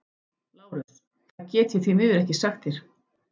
LÁRUS: Það get ég því miður ekki sagt þér.